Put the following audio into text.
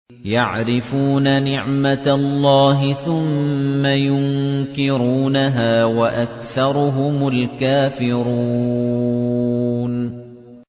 يَعْرِفُونَ نِعْمَتَ اللَّهِ ثُمَّ يُنكِرُونَهَا وَأَكْثَرُهُمُ الْكَافِرُونَ